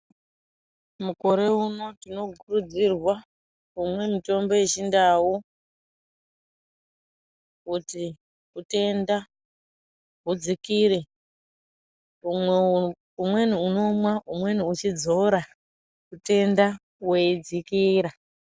Mukore uno tino kurudzirwa kumwe mutombo yechi ndau kuti utenda hudzikire umweni unomwa umweni uchidzora utenda hwei dzikira.